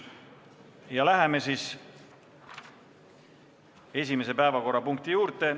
Läheme siis esimese päevakorrapunkti juurde.